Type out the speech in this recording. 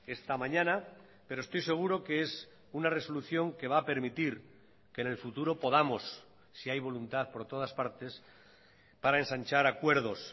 esta mañana pero estoy seguro que es una resolución que va a permitir que en el futuro podamos si hay voluntad por todas partes para ensanchar acuerdos